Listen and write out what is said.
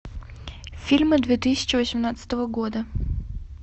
фильмы две тысячи восемнадцатого года